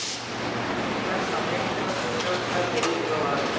Hægt er að smella á myndina til að sjá stærri útgáfu af henni.